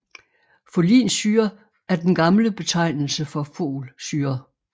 Folinsyre er den gamle betegnelse for Folsyre